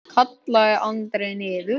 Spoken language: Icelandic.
kallaði Andri niður.